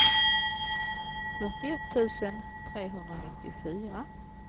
fyrtioett tusen trehundranittiofyra